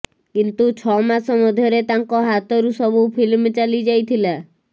କିନ୍ତୁ ଛଅ ମାସ ମଧ୍ୟରେ ତାଙ୍କ ହାତରୁ ସବୁ ଫିଲ୍ମ ଚାଲିଯାଇଥିଲା